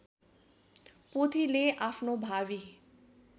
पोथीले आफ्नो भावी